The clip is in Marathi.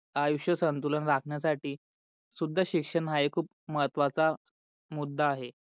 आयुष्य संतुलन रखण्यासाठी सुद्धा शिक्षण हा खूप महत्वाचा मुद्दा आहे.